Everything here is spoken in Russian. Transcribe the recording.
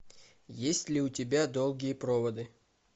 есть ли у тебя долгие проводы